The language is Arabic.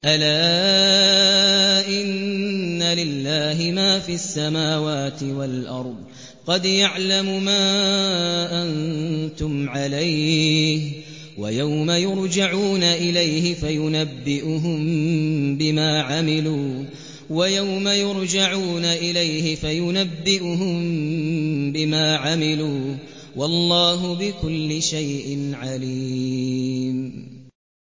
أَلَا إِنَّ لِلَّهِ مَا فِي السَّمَاوَاتِ وَالْأَرْضِ ۖ قَدْ يَعْلَمُ مَا أَنتُمْ عَلَيْهِ وَيَوْمَ يُرْجَعُونَ إِلَيْهِ فَيُنَبِّئُهُم بِمَا عَمِلُوا ۗ وَاللَّهُ بِكُلِّ شَيْءٍ عَلِيمٌ